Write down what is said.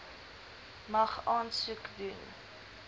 mag aansoek doen